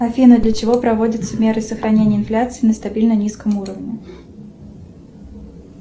афина для чего проводятся меры сохранения инфляции на стабильно низком уровне